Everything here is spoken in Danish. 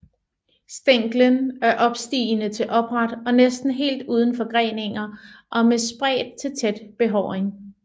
Stænglen er opstigende til opret og næsten helt uden forgreninger og med spredt til tæt behåring